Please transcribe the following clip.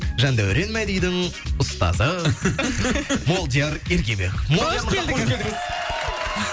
жандәурен мадидің ұстазы молдияр ергебеков молдияр мырза қош келдіңіз